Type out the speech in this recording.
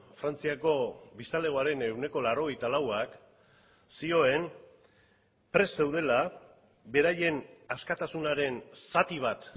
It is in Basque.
frantziako biztanlegoaren ehuneko laurogeita lauak zioen prest zeudela beraien askatasunaren zati bat